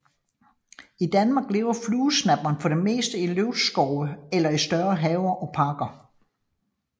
I Danmark lever fluesnapperen for det meste i løvskove eller i større haver og parker